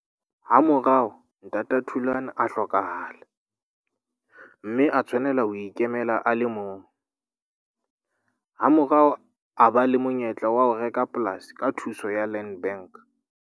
Hamorao ntata Thulan a hlokahala, mme a tshwanela ho ikemela a le mong. Hamorao a ba le monyetla wa ho reka polasi ka thuso ya Land Bank.